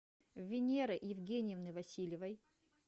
винеры евгеньевны васильевой